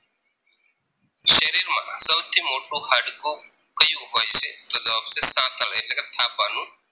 સૌથી મોટું હાડકું કયું હોય છે તો જવાબ છે સાથળ એટલે કે થાપાનું